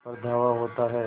पर धावा होता है